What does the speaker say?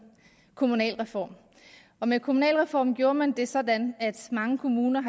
kommunalreform og med kommunalreformen gjorde man det sådan at mange kommuner